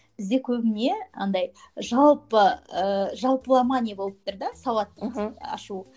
бізде көбіне андай жалпы ы жалпылама не болып тұр да сауаттылық ашу